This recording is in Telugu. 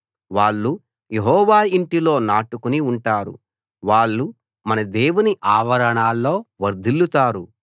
వాళ్ళు యెహోవా ఇంటిలో నాటుకుని ఉంటారు వాళ్ళు మన దేవుని ఆవరణాల్లో వర్ధిల్లుతారు